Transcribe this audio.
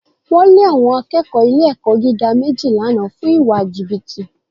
Wọ́n lé àwọn akẹ́kọ̀ọ́ ilé-ẹ̀kọ́ gíga méjì lánàá fún ìwà jìbìtì